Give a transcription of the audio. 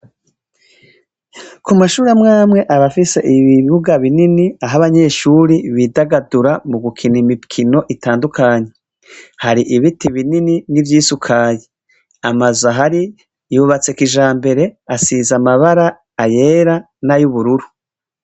Ku mashure amwamwe aba afise ibibuga binini aho abanyeshuri bidagadura mu gukina imikino itandukanye, hari ibiti binini n'ivyisukaye, amazu ahari yubatse kijambere, asize amabara ayera nay'ubururu.